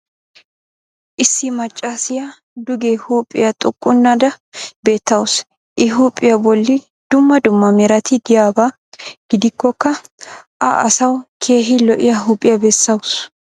issi macaassiya duge huuphhpiya xuqqunnada beetawusu. I huuphiya bolli dumma dumma merati diyaba gidikkokka a asawu keehi lo'iya huuphiya bessawusu.